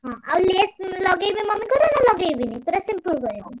ହଁ ଆଉ lace ଲଗେଇବି mummy ଙ୍କର ନା ଲଗେଇବିନି ପୁରା simple କରିବି?